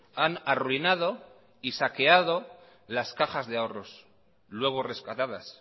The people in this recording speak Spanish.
han arruinado y saqueado las cajas de ahorros luego rescatadas